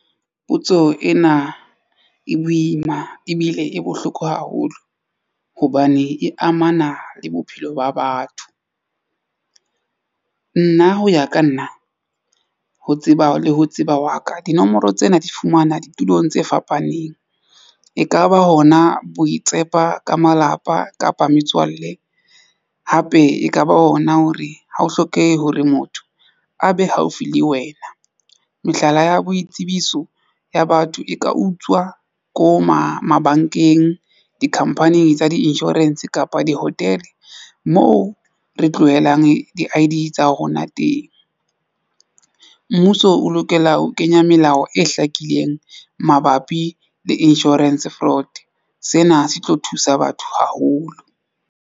Potso ena e boima ebile e bohloko haholo hobane e amana le bophelo ba batho. Nna ho ya ka nna ho tseba le ho tseba wa ka dinomoro tsena di fumana ditulong tse fapaneng. Ekaba hona boitshepo ba ka malapa kapa metswalle hape ekaba ona hore ha ho hlokehe hore motho a be haufi le wena. Mehlala ya boitsebiso ya batho e ka utswa ko mabankeng, dikhampani tsa di-insurance kapa di-hotel moo re tlohelang di-I_D etsa rona teng. Mmuso o lokela ho kenya melao e hlakileng mabapi le insurance fraud sena se tlo thusa batho haholo.